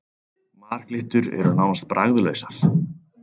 Marglyttur eru nánast bragðlausar.